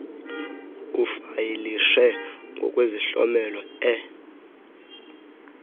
ufayilishe ngokwesihlomelo e